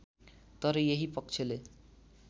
तर यही पक्षले